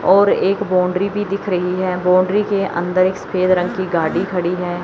और एक बाउंड्री भी दिख रही है बाउंड्री के अंदर एक सफेद रंग की गाड़ी खड़ी है।